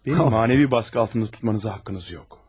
Bəni mənəvi basqı altında tutmanıza haqqınız yox.